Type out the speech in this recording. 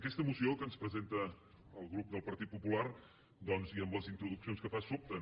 aquesta moció que ens presenta el grup del partit popular doncs i amb les introduccions que fa sobten